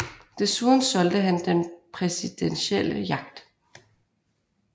Desuden solgte han den præsidentielle yacht